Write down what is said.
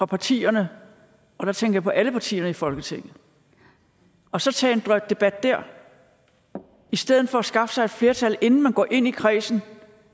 partierne og der tænker jeg på alle partierne i folketinget og så tage en debat der i stedet for at skaffe sig et flertal inden man går ind i kredsen